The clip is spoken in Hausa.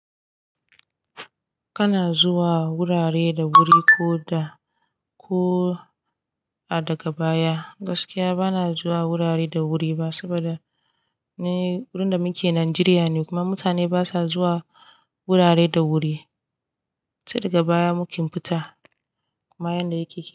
Kana zuwa wurare da wuri ko da ko a daga baya. Gaskiya bana zuwa wurare da wuri ba saboda ni mu da muke Najeriya ne kuma mutane basa zuwa wurare da wuri. Sai daga baya muke fita kuma yanda yake.